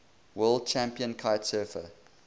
world champion kitesurfer